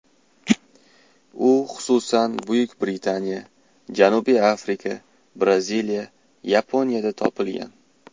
U, xususan, Buyuk Britaniya, Janubiy Afrika, Braziliya, Yaponiyada topilgan.